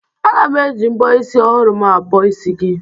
Aga m e ji mbọ isi ọhụrụ m abọ isi gị.